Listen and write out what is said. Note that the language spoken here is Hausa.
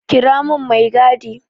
Kira mun mai gadi!